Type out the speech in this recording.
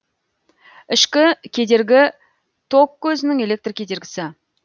ішкі кедергі ток козінің электр кедергісі